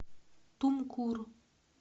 тумкур